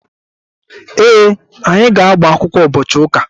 Ee, anyị ga-agbakwụkwọ ụbọchị ụka.